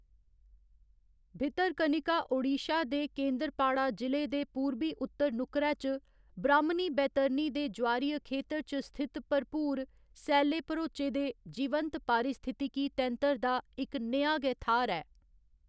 भितरकनिका ओडिशा दे केंद्रपाड़ा जि'ले दे पूरबी उत्तर नुक्करै च, ब्राह्‌‌मनी बैतरणी दे ज्वारीय खेतर च स्थित भरपूर, सैले भरोचे दे, जीवंत पारिस्थितिकी तैंतर दा इक नेहा गै थाह्‌‌‌र ऐ।